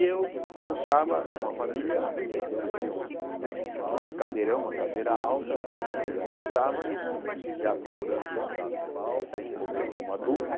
E eu almoçava com a família, havia um que chamasse cadeirão, uma cadeira alta, e eu almoçava, já procurando comer como adulto.